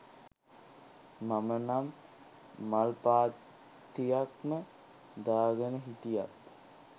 මම නම් මල් පාත්තියක්ම දාගෙන හිටියත්